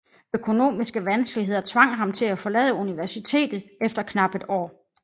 Økonomiske vanskeligheder tvang ham til at forlade universitetet efter knapt et år